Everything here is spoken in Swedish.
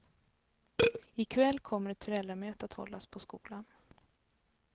I kväll kommer ett föräldramöte att hållas på skolan.